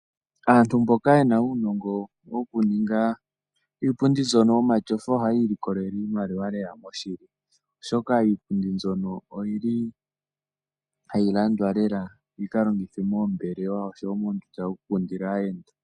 Aantu mboka yena uunongo woku ninga iipundi mbyono yomatyofa ohaya ilikolele iimaliwa lela moshilo ,oshoka iipundi mbyono oyili hayi landwa lela yika longithwe moombelewa oshowo moondunda dhoku kundila aayenda.